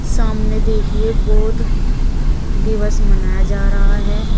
सामने देखिए बौद्ध दिवस मनाया जा रहा है।